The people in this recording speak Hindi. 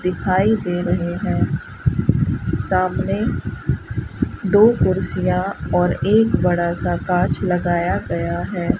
दिखाई दे रहे हैं सामने दो कुर्सियां और एक बड़ा सा कांच लगाया गया है।